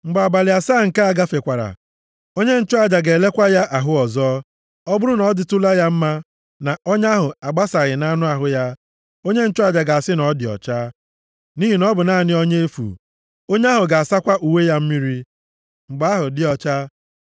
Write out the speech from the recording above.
Mgbe abalị asaa nke a gafekwara, onye nchụaja ga-elekwa ya ahụ ọzọ. Ọ bụrụ na ọ dịtụla ya mma, na ọnya ahụ agbasaghị nʼanụ ahụ ya, onye nchụaja ga-asị na ọ dị ọcha, nʼihi na ọ bụ naanị ọnya efu. Onye ahụ ga-asakwa uwe ya mmiri, mgbe ahụ dị ọcha.